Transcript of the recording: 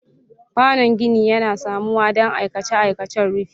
Kwanon gini yana samuwa don aikace-aikacen rufi.